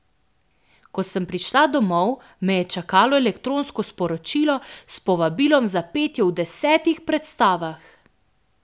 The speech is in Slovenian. Ko sem prišla domov, me je čakalo elektronsko sporočilo s povabilom za petje v desetih predstavah!